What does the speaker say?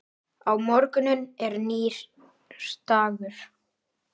Á morgun er nýr dagur.